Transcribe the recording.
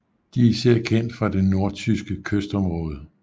De er især kendt fra det nordtyske kystområde